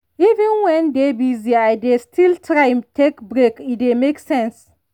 even when dey busy i dey still try take break e dey make sense.